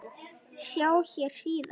Sjá hér síðar.